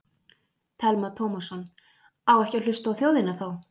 Telma Tómasson: Á ekki að hlusta á þjóðina þá?